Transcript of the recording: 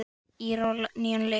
Íra á nýjan leik.